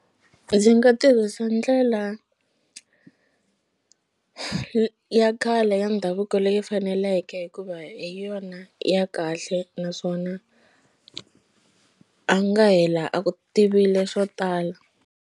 Ndzi nga tirhisa ndlela ya khale ya ndhavuko leyi faneleke hikuva hi yona ya kahle naswona a nga hela a ku tivile swo tala.